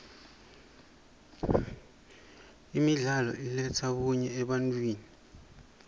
imidlalo iletsa bunye ebantfwini